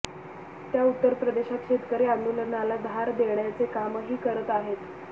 त्या उत्तर प्रदेशात शेतकरी आंदोलनाला धार देण्याचे कामही करत आहेत